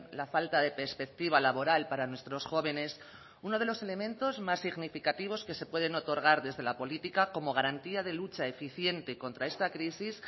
la falta de perspectiva laboral para nuestros jóvenes uno de los elementos más significativos que se pueden otorgar desde la política como garantía de lucha eficiente contra esta crisis